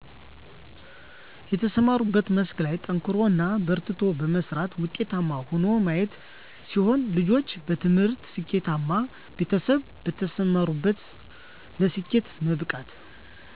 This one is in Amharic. በተሰማሩበት መስክ ላይ ጠንክሮ እና በርትቶ በመስራት ውጤታማ ሆኖ ማየት ሲሆን ልጆች በትምህርታቸው ስኬተማ ቤተሰብ በተሰማሩበት ለስኬት መብቃት